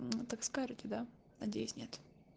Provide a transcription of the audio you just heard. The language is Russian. так скажите да надеюсь нет